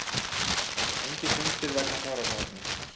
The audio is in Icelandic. Engir fundir vegna fjárhagsáætlunar